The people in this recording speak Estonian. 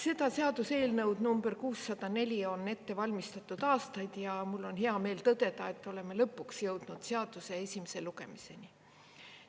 Seda seaduseelnõu nr 604 on ette valmistatud aastaid ja mul on hea meel tõdeda, et oleme lõpuks jõudnud seaduse esimese lugemiseni.